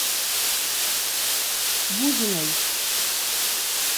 бузиной